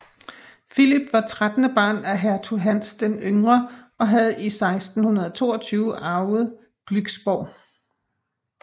Philip var trettende barn af hertug Hans den Yngre og havde i 1622 arvet Glücksborg